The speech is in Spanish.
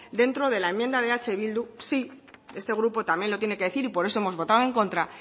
dentro de la enmienda de eh bildu sí este grupo también lo tiene que decir y por eso hemos votado en contra